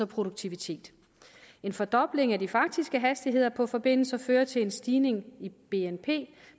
produktivitet en fordobling af de faktiske hastigheder på forbindelser fører til en stigning i bnp